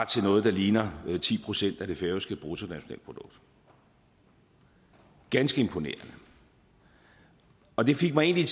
til noget der ligner ti procent af det færøske bruttonationalprodukt ganske imponerende og det fik mig egentlig